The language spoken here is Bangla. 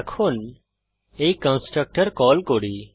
এখন এই কন্সট্রকটর কল করি